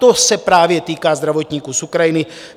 To se právě týká zdravotníků z Ukrajiny.